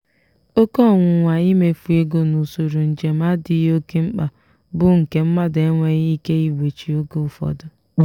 oke ọnwụnwa imefu ego na usoro njem adịghị oke mkpa bụ nke mmadụ enweghị ike igbochi oge ụfọdụ.